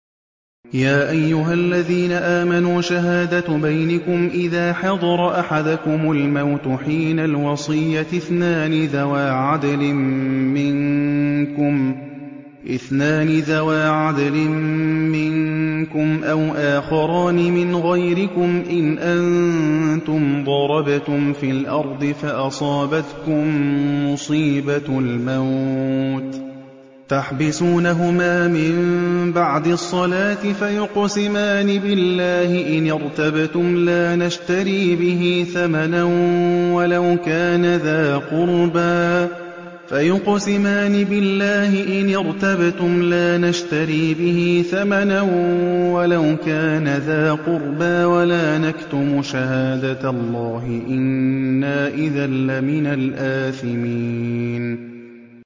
يَا أَيُّهَا الَّذِينَ آمَنُوا شَهَادَةُ بَيْنِكُمْ إِذَا حَضَرَ أَحَدَكُمُ الْمَوْتُ حِينَ الْوَصِيَّةِ اثْنَانِ ذَوَا عَدْلٍ مِّنكُمْ أَوْ آخَرَانِ مِنْ غَيْرِكُمْ إِنْ أَنتُمْ ضَرَبْتُمْ فِي الْأَرْضِ فَأَصَابَتْكُم مُّصِيبَةُ الْمَوْتِ ۚ تَحْبِسُونَهُمَا مِن بَعْدِ الصَّلَاةِ فَيُقْسِمَانِ بِاللَّهِ إِنِ ارْتَبْتُمْ لَا نَشْتَرِي بِهِ ثَمَنًا وَلَوْ كَانَ ذَا قُرْبَىٰ ۙ وَلَا نَكْتُمُ شَهَادَةَ اللَّهِ إِنَّا إِذًا لَّمِنَ الْآثِمِينَ